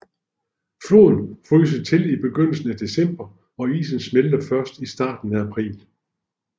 Floden fryser til i begyndelsen af december og isen smelter først i starten af april